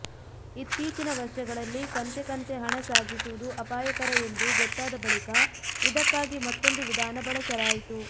ಇತ್ತೀಚಿನ ವರ್ಷಗಳಲ್ಲಿ ಕಂತೆಕಂತೆ ಹಣ ಸಾಗಿಸುವುದು ಅಪಾಯಕರ ಎಂದು ಗೊತ್ತಾದ ಬಳಿಕ ಇದಕ್ಕಾಗಿ ಮತ್ತೊಂದು ವಿಧಾನ ಬಳಸಲಾಯಿತು